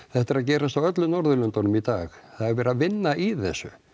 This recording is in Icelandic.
þetta er að gerast á öllum Norðurlöndunum í dag það er verið að vinna í þessu